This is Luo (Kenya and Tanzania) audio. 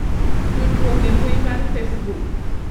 tudruok e mbui mar facebook